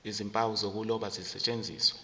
nezimpawu zokuloba zisetshenziswe